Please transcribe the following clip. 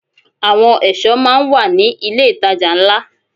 Àwọn ẹ̀ṣọ́ máa ń wà ní ilé ìtajà ńlá.